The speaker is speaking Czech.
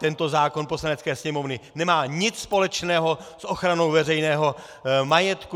Tento zákon Poslanecké sněmovny nemá nic společného s ochranou veřejného majetku.